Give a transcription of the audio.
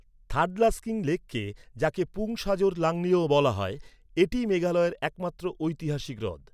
থাডলাস্কিন লেককে, যাকে পুং সাজর নাংলিও বলা হয়। এটিই মেঘালয়ের একমাত্র ঐতিহাসিক হ্রদ।